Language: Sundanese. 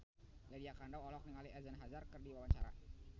Lydia Kandou olohok ningali Eden Hazard keur diwawancara